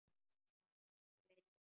Að nokkru leyti.